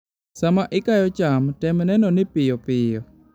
Sama ikayo cham, tem neno ni piyo piyo.